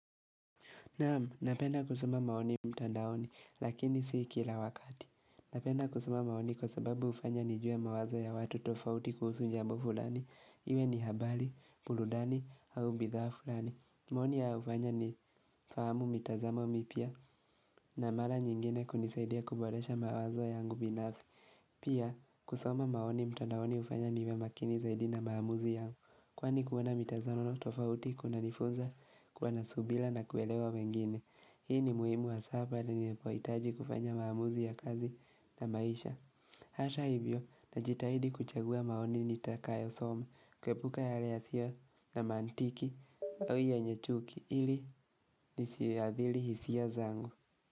Naam, napenda kusoma maoni mtandaoni, lakini si kila wakati. Napenda kusoma maoni kwa sababu hufanya nijue mawazo ya watu tofauti kuhusu jambo fulani. Iwe ni habari, burudani, au bidhaa fulani. Maoni haya hufanya nifahamu mitazamo mipya na mara nyingine kunisaidia kuboresha mawazo yangu binafsi. Pia, kusoma maoni mtandaoni hufanya niwe makini zaidi na maamuzi yangu. Kwani kuwa na mitazamo tofauti, kunanifunza, kuwa na subira na kuelewa wengine. Hii ni muhimu hasa wa nanipohitaji kufanya maamuzi ya kazi na maisha Hata hivyo najitahidi kuchagua maoni nitakayosoma kuepuka yale yasiyo na mantiki yenye chuki ili nisiadhili hisia zangu.